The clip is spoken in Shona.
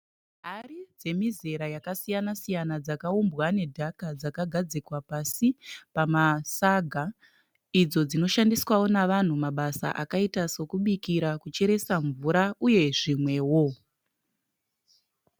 Hari dzemizera yakasiyana siyana dzakaumbwa nedhaka dzakagadzikwa pasi pamasaga. Idzo dzinoshandiswawo navanhu mabasa akaita sokubikira, kucheresa mvura uye zvimwewo.